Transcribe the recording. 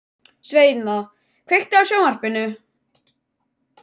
Sveina, kveiktu á sjónvarpinu.